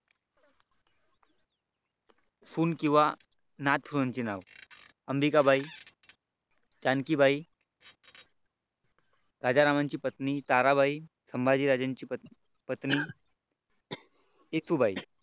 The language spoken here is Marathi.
सुन किंवा नात नासुन चे नाव अंबिकाबाई जानकीबाई राजारामांची बाई ताराबाई संभाजी महाराजांची पत्नी शितूबाई